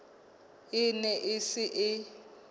e ne e se e